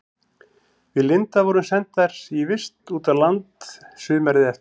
Við Linda vorum sendar í vist út á land sumarið eftir.